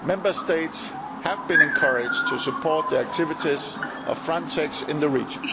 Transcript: Member States have been encouraged to support the activities of Frontex in the region.